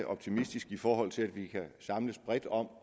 optimistisk i forhold til at vi kan samles bredt om